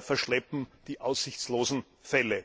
verschleppen die aussichtslosen Fälle.